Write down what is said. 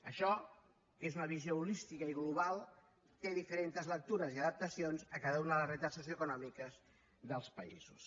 això que és una visió holística i global té diferents lectures i adaptacions a cada una de les realitats socioeconòmiques dels països